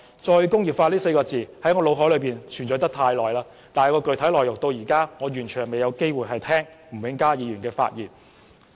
"再工業化"這4個字在我腦海裏存在了很久，但具體內容到現在仍未有機會聽到吳永嘉議員發言。